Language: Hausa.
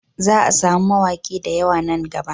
Za a samu mawaki da yawa nan gaba